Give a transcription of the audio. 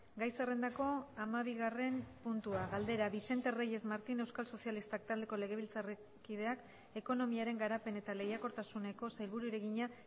gai zerrendako hamabigarren puntua galdera vicente reyes martín euskal sozialistak taldeko legebiltzarkideak ekonomiaren garapen eta lehiakortasuneko sailburuari egina